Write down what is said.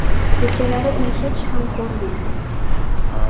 Kechalari uni hech ham ko‘rmaymiz.